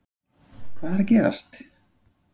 Hvað er að gerast???